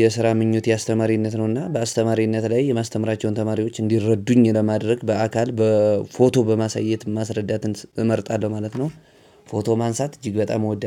የስራ ምኞት የአስተማሪነት ነው። እና በአስተማሪነት ላይ የማስተምራቸውን ተማሪዎች እንዲረዱኝ ለማድረግ በአካል በፎቶ በማሳየት ማስረዳት እመርጣለሁ ማለት ነው። ፎቶ ማንሳት እጅግ በጣም እወዳለሁ።